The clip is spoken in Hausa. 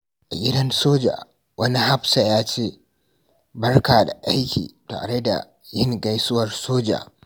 A gidan soja, wani hafsa ya ce, "Barka da aiki" tare da yin gaisuwar soja.